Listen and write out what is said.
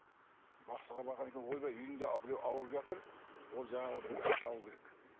бақсыға барған екен ойбай үйіңде біреу ауырып жатыр ол жаңағы бір бата алуы керек